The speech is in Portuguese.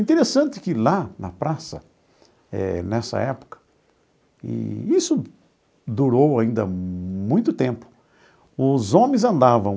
Interessante que lá na praça, eh nessa época, e isso durou ainda muito tempo, os homens andavam